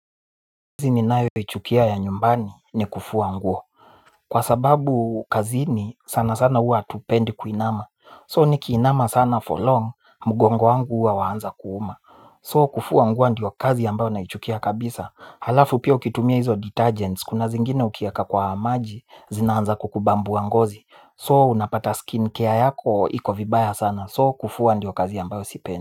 Kazi ninayoichukia ya nyumbani ni kufua nguo. Kwa sababu kazini sana sana huwa hatupendi kuinama So nikiinama sana for long mgongo wangu huwa waanza kuuma So kufua nguo ndio kazi ambayo naichukia kabisa. Halafu pia ukitumia hizo detergents kuna zingine ukieka kwa maji zinaanza kukubambua ngozi So unapata skin care yako iko vibaya sana so kufua ndio kazi ambayo sipendi.